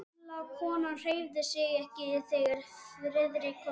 Gamla konan hreyfði sig ekki, þegar Friðrik kom inn.